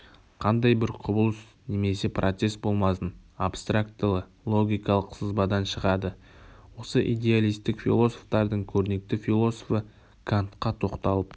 қандай бір құбылыс немесе процесс болмасын абстрактылы-логикалық сызбадан шығады осы идеалистік философтардың көрнекті философы кантқа тоқталып